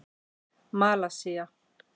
Malasía